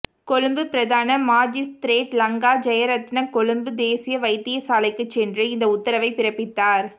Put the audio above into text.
கொழும்பு பிரதான மாஜிஸ்திரேட் லங்கா ஜயரத்ன கொழும்பு தேசிய வைத்தியசாலைக்கு சென்று இந்த உத்தரவை பிறப்பித்தார்